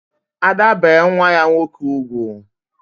Ada bee nwa ya nwoke ugwu